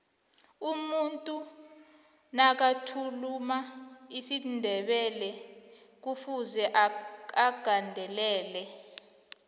umuntu nakathuluma isindebelekufuze agandelele